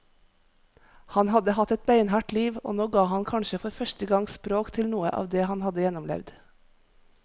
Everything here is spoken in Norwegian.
Han hadde hatt et beinhardt liv, og nå ga han kanskje for første gang språk til noe av det han hadde gjennomlevd.